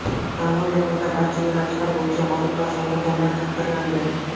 Tanlov yakunida barcha yo‘nalishlar bo‘yicha g‘olib va sovrindorlar taqdirlandi.